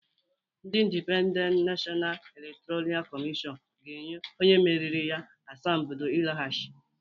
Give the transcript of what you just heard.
Ndị Indipendent Nashọna Elektọra Kọmịshọn ga-enye onye meriri ya asambodo ịlọghachi